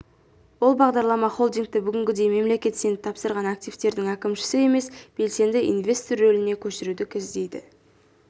ол бағдарлама холдингті бүгінгідей мемлекет сеніп тапсырған активтердің әкімшісі емес белсенді инвестор рөліне көшіруді көздейді